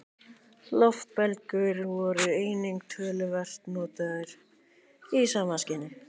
Loftbelgir voru einnig töluvert notaðir í sama skyni.